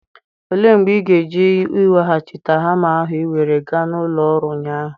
Olee mgbe ị ga-eje iweghachite hama ahụ ị were gaa na ụlọ ọrụ ụnyaahụ?